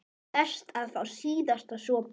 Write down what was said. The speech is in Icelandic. Best að fá síðasta sopann.